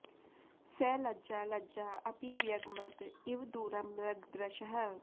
स लज्जा लज्जा अपि व्यगमत् इव दूरम् मृग दृशः